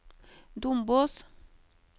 Dombås